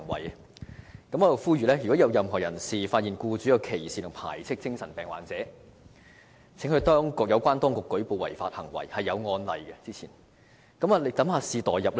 我在這裏呼籲，如果任何人士發現僱主歧視或排斥精神病患者，請向有關當局舉報這類違法行為，而之前亦曾有類似的案例。